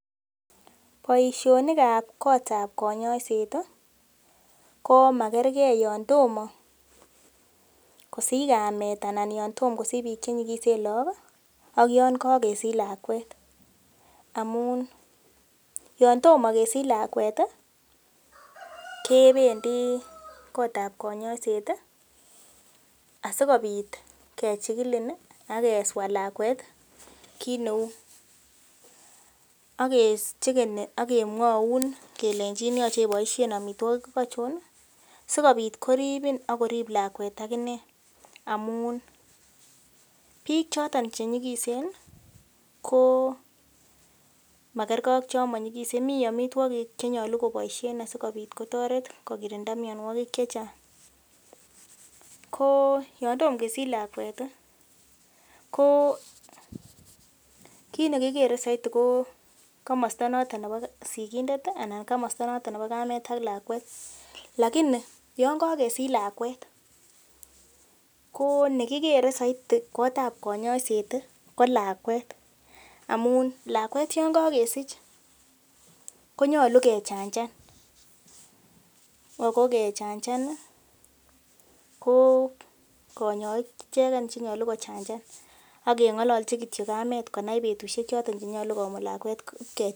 Boisionik ab kotab konyoiset komakergee yon tomo kosich kamet anan yon tom kosich biik chenyigisen look ih ak yon kakesich lakwet amun yon tomo kesich lakwet ih kebendii kotab konyoiset asikobit kechigilin ih ak keswaa lakwet kit neu akechegeni ak kemwoun kelenjin yoche iboisien amitwogik achon sikobit koribin ak korip lakwet akinee amun biik choton chenyigisen ih ko makergee ak chon monyigisen mii amitwogik chenyolu koboisien asikobit kotoret kokirinda mionwogik chechang ko yon tom kesich lakwet ih ko kit nekikere soiti ko komosta noton nebo sigindet ih anan komosta noton nebo kamet ak lakwet lakini yon kakesich lakwet ko nekikere soiti kotab konyoiset ko lakwet amun lakwet yon kakesich ko nyolu kechanjan ako kechanjan ih ko konyoik icheken chenyolu kochanjan ak keng'ololchi kityo kamet konai betusiek choton chenyolu konai kimut lakwet kechanjan